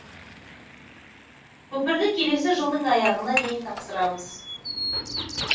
көпірді келесі жылдың аяғына дейін тапсырамыз